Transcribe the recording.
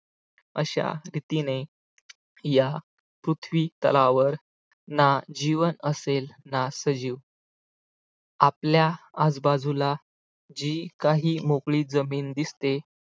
अशा रीतीने या पृथ्वीतलावर ना जीवन असेल ना सजीव आपल्या आजूबाजूला जी काही मोकळी जमीन दिसते